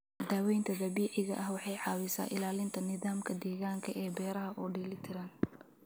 Daawaynta dabiiciga ahi waxay caawisaa ilaalinta nidaamka deegaanka ee beeraha oo dheeli tiran.